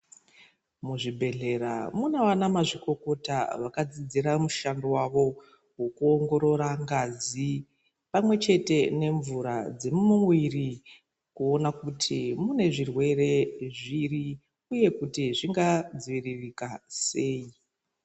Muzvibhedhlera munavana mazvikokota vakadzidzira mushando wavo wokuongorora ngazi pamwechete nemvura dziri mumuiri kuona kuti mune zvirwere zviri uye kuti zvingadziviririka sei.